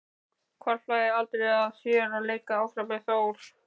Hvarflaði aldrei að þér að leika áfram með Þór?